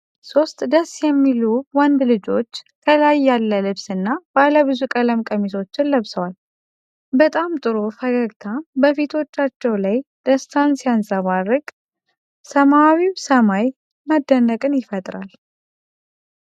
ሦስት ደስ የሚል ወንዶች ልጆች ከላይ ያለ ልብስና ባለብዙ ቀለም ቀሚሶችን ለብሰዋል። በጣም ጥሩ ፈገግታ በፊቶቻቸው ላይ ደስታን ሲያንፀባርቅ፣ ሰማያዊው ሰማይ መደነቅን ይፈጥራል።